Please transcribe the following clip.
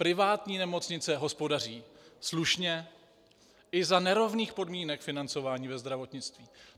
Privátní nemocnice hospodaří slušně i za nerovných podmínek financování ve zdravotnictví.